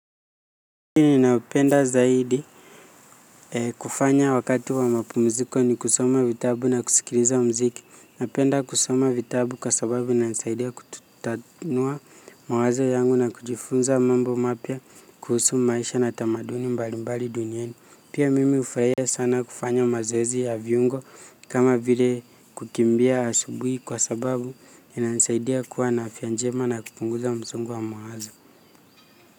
Mimi napenda zaidi kufanya wakati wa mapumziko ni kusoma vitabu na kusikiliza mziki. Napenda kusoma vitabu kwa sababu inanisaidia kutatanua mawazo yangu na kujifunza mambo mapya kuhusu maisha na tamaduni mbalimbali duniani. Pia mimi hufurahia sana kufanya mazoezi ya viungo kama vile kukimbia asubuhi kwa sababu inanisaidia kuwa na afya njema na kupunguza msongo wa mawazo.